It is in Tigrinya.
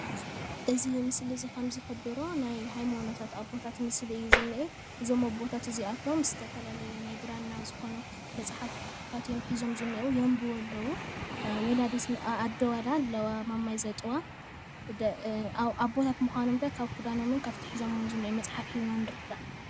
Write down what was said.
እዚ ምስሊ እዚ ከም ዝሕብሮ ናይ ሃይማኖታት አቦታት ምስሊ እዩ ዝኔአ እዞም ኣቦታት እዚኣቶም ዝተፈላለዩ ናይ ብራና ዝኮኑ መፅሓፍቲ ሒዞም እዮም ዝኔዉ የንቡቡ አለው፣ አዶ ኣለዋ ፣ማማይ ዘጥዋ ፣ኣቦታት ምካኖም እውን ካብቲ ክዳኖምን ካብቲ ሒዘምዎ ዘለው መፅሓፍ ንርዳእ፡፡